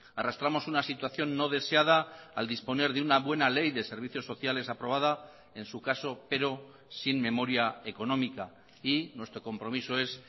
arrastramos una situación no deseada al disponer de una buena ley de servicios sociales aprobada en su caso pero sin memoria económica y nuestro compromiso es